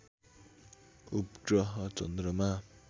उपग्रह चन्द्रमा